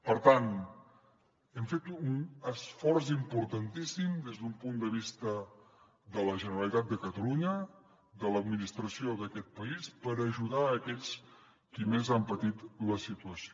per tant hem fet un esforç importantíssim des d’un punt de vista de la generalitat de catalunya de l’administració d’aquest país per ajudar aquells qui més han patit la situació